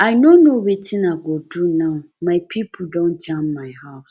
i no know wetin i go do now my pipo don jam my house